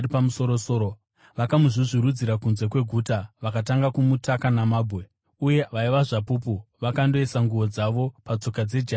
vakamuzvuzvurudzira kunze kweguta vakatanga kumutaka namabwe. Uye, vaya vaiva zvapupu vakandoisa nguo dzavo patsoka dzejaya rainzi Sauro.